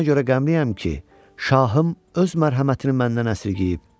"Mən ona görə qəmliyəm ki, şahım öz mərhəmətini məndən əsirgəyib."